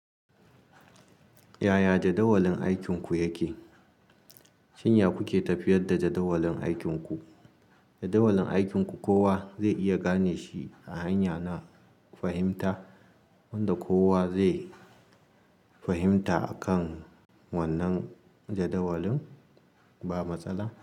Yaya jadawalin aikinku yake? Shin ya ku ke tafiyar da jadawalin aikinku. Jadawalin aikinku kowa zai iya gane shi a hanya na fahimta wanda kowa zai fahimta akan wannan jadawalin. Ba matsala?